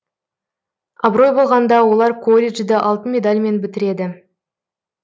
абырой болғанда олар коллежді алтын медальмен бітіреді